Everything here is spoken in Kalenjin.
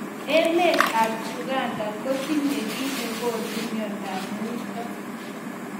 Emet ab Uganda kotinye ki nekonu mnyendo ab muito.